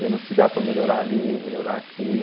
Vendo se dá para melhorar ali, melhorar aqui.